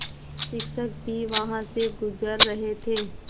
शिक्षक भी वहाँ से गुज़र रहे थे